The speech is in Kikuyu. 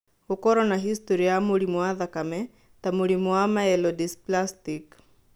Gũkorũo na historĩ ya mũrimũ wa thakame ta mũrimũ wa myelodysplastic.